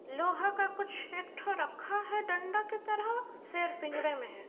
लोहा का कुछ एकठो रखा है डण्डा की तरह शेर पिंजरे में है।